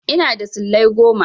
Ina da silai goma.